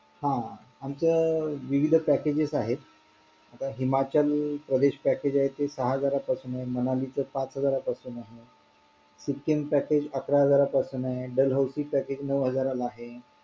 ज्यांचे दहाच झालं त्यांचं तीसच या